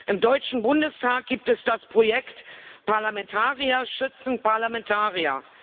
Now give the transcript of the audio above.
Im Deutschen Bundestag gibt es das Projekt Parlamentarier schützen Parlamentarier